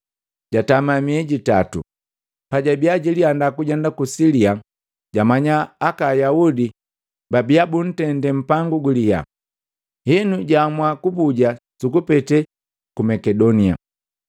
jatama miei jitato. Pajabia jilianda kujenda ku Silia, jamanya aka Ayaudi babia buntende mpangu guliyaa, henu jaamua kubuja sukupetee ku Makedonia.